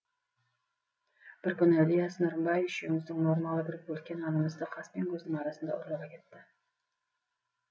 бір күні ілияс нұрымбай үшеуміздің нормалы бір бөлке нанымызды қас пен көздің арасында ұрлап әкетті